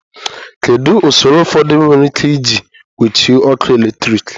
Kedu ụsọrọ ụfọdụ were ike iji gbochie ọkụ eletrik?